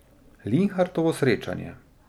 Linhartovo srečanje.